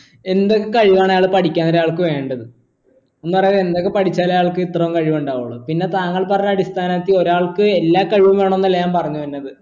എന്തൊക്കെ കഴിവാണ് പഠിക്കാൻ ഒരാൾക്ക് വേണ്ടത് എന്ന് പറയുന്നത് എന്തൊക്കെ പഠിച്ചാല അയാൾക്ക് ഇത്രയും കഴിവുണ്ടാവുള്ളൂ പിന്നെ താങ്കൾ പറഞ്ഞ അടിസ്ഥാനത്തിൽ ഒരാൾക്ക് എല്ലാ കഴിവും വേണമെന്നല്ല ഞാൻ പറഞ്ഞു വരുന്നത്